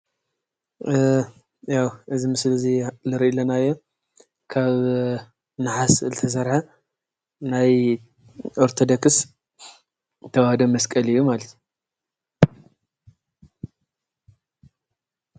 ያው እዚ ምስሊ እዙይ እንሪኦ ዘለና ካብ ነሃስ ዝተሰርሐ ናይ ኦሮቶዶክስ ተዋህዶ መስቀል እዩ ማለት እዩ።